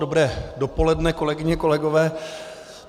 Dobré dopoledne, kolegyně, kolegové.